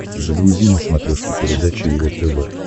загрузи на смотрешке передачу его тв